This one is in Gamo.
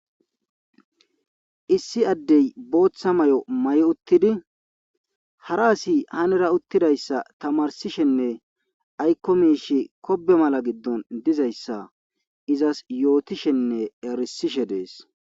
Issi addey booththa may7o may7 uttidi hara asi hanera uttidayssa tamarsishenne aykko miish kobe mala giddon dizayssa izas yootishenne arisishe dees.